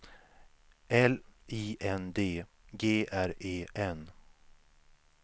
L I N D G R E N